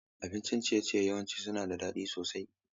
Abincin ciye-ciye yawanci suna da daɗi sosai.